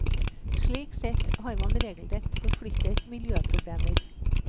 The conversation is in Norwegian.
Slik sett har man regelrett forflyttet miljøproblemer.